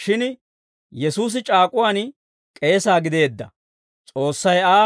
Shin Yesuusi c'aak'uwaan k'eesa gideedda; S'oossay Aa,